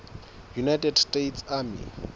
united states army